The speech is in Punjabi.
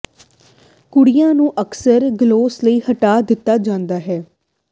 ਕੁੜੀਆਂ ਨੂੰ ਅਕਸਰ ਗਲੋਸ ਲਈ ਹਟਾ ਦਿੱਤਾ ਜਾਂਦਾ ਹੈ